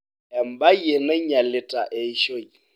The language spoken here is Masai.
embaye nainyialita eishoi